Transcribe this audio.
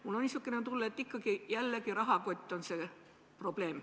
Mul on niisugune tunne, et ikkagi jälle rahakott on suurim probleem.